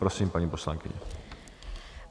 Prosím, paní poslankyně.